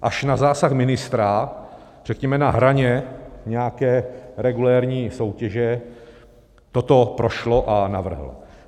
Až na zásah ministra, řekněme, na hraně nějaké regulérní soutěže toto prošlo a navrhl.